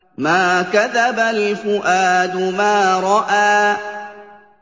مَا كَذَبَ الْفُؤَادُ مَا رَأَىٰ